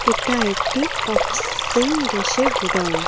এটা একটি অক্সিং গ্যাসের গোডাউন ।